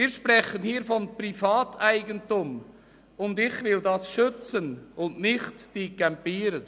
Wir sprechen hier von Privateigentum, und dieses will ich schützen, nicht die Campierenden.